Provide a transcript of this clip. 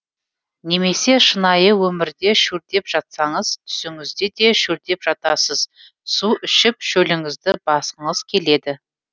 немесе шынайы өмірде шөлдеп жатсаңыз түсіңізде де шөлдеп жатасыз су ішіп шөліңізді басқыңыз келеді